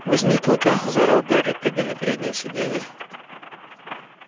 возьми клыка заорал гарри прыгая на переднее сиденье